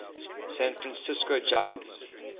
san francisco giants